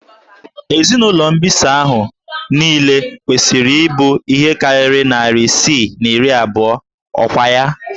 Ezinụlọ mbisa ahụ niile kwesịrị ịbụ ihe karịrị narị isii na iri abụọ, ọkwa ya?